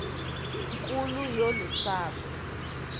nkulu yolu sapho